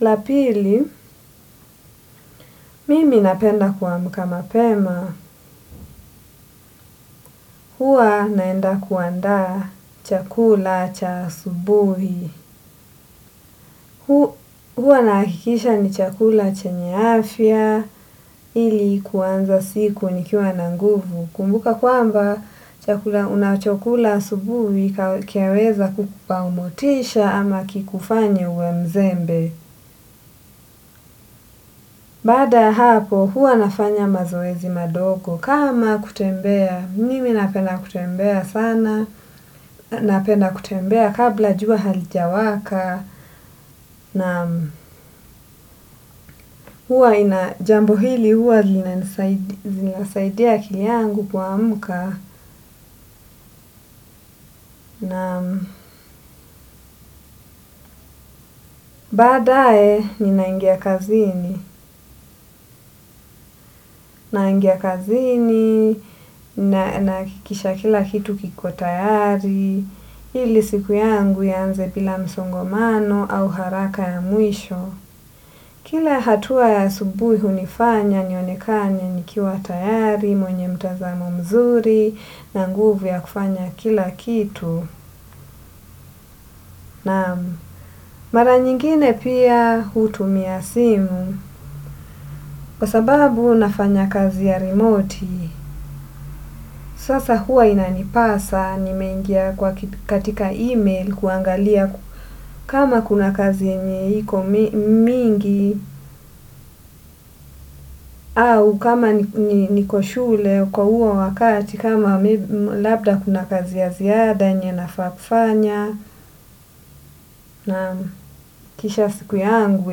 La pili, mimi napenda kuamka mapema. Huwa naenda kuandaa chakula cha asubuhi. Huwa nahakikisha ni chakula chenye afya ili kuanza siku nikiwa na nguvu. Kumbuka kwamba chakula unachokula asubuhi kiaweza kukupa motisha ama kikufanye uwe mzembe. Baada ya hapo, huwa nafanya mazoezi madogo. Kama kutembea. Mimi napenda kutembea sana, napenda kutembea, kabla jua halijawaka. Naam. Huwa ina, jambo hili huwa linasaidia akili yangu kuamka, naam. Baadae ninaingia kazini. Naingia kazini, nahakikisha kila kitu kiko tayari, ili siku yangu ianze bila msongomano au haraka ya mwisho. Kila hatua ya asubuhi hunifanya nionekane nikiwa tayari, mwenye mtazamo mzuri, na nguvu ya kufanya kila kitu. Naam. Mara nyingine pia hutumia simu, kwa sababu nafanya kazi ya remote, sasa huwa inanipasa nimeingia kwa katika email kuangalia kama kuna kazi enye iko mingi. Au kama niko shule kwa uo wakati kama labda kuna kazi ya ziada yenye nafaa kufanya. Naam kisha siku yangu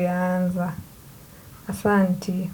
yaanza. Asanti.